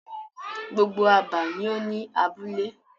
Gbogbo abà ni o ni abúlé.